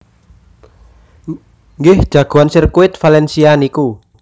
Nggih jagoan sirkuit Valencia niku